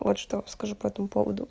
вот что скажу поэтому поводу